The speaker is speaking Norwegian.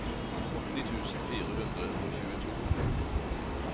åtti tusen fire hundre og tjueto